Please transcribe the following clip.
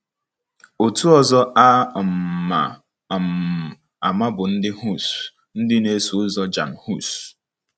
Otu ọzọ a um ma um ama bụ ndị Hus, ndị na-eso ụzọ Jan Hus.